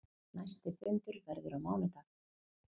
Næsti fundur verður á mánudag.